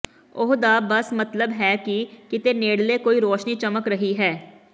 ਉਹ ਦਾ ਬਸ ਮਤਲਬ ਹੈ ਕਿ ਕਿਤੇ ਨੇੜਲੇ ਕੋਈ ਰੌਸ਼ਨੀ ਚਮਕ ਰਹੀ ਹੈ